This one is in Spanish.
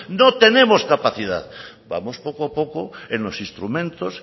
no tenemos capacidad vamos poco a poco en los instrumentos